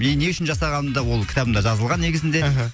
и не үшін жасағаным да ол кітабымда жазылған негізінде мхм